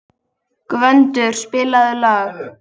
Gvöndur, spilaðu lag.